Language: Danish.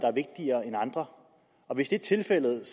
er vigtigere end andre hvis det er tilfældet er